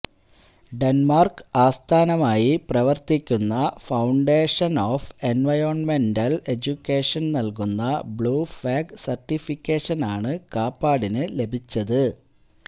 Denmark ആസ്ഥാനമായി പ്രവര്ത്തിക്കുന്ന foundation of എന്വയോണ്മെന്റല് എഡ്യൂക്കേഷന് നല്കുന്ന ബ്ലൂ ഫ്ലാഗ് സര്ട്ടിഫിക്കേഷനാണ് കാപ്പാടിന് ലഭിച്ചത്